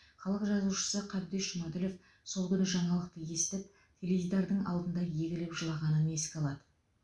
халық жазушысы қабдеш жұмаділов сол күні жаңалықты естіп теледидардың алдында егіліп жылағанын еске алады